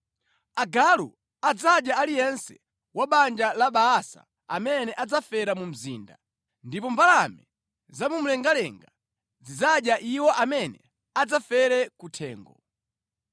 Agalu adzadya aliyense wa banja la Baasa amene adzafere mu mzinda, ndipo mbalame za mu mlengalenga zidzadya iwo amene adzafere kuthengo.”